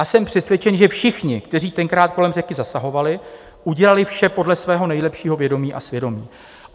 A jsem přesvědčen, že všichni, kteří tenkrát kolem řeky zasahovali, udělali vše podle svého nejlepšího vědomí a svědomí.